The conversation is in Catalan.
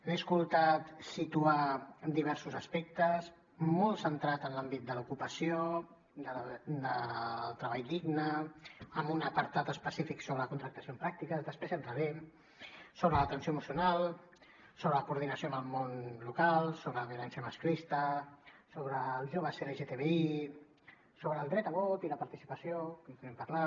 l’he escoltat situar diversos aspectes molt centrats en l’àmbit de l’ocupació del treball digne amb un apartat específic sobre la contractació en pràctiques després hi entrarem sobre l’atenció emocional sobre la coordinació amb el món local sobre la violència masclista sobre el joves lgtbi sobre el dret a vot i la participació en continuarem parlant